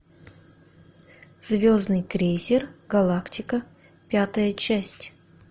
звездный крейсер галактика пятая часть